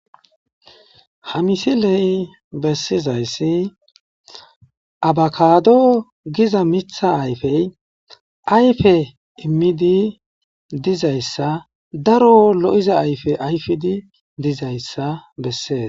Ha misiley bessizayssi abakado giza miththa ayfey ayfe immidi dizayssa daro lo'iza ayfe ayfidi dizayssa besses.